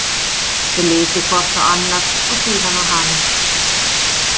Þau litu hvort á annað og síðan á hana.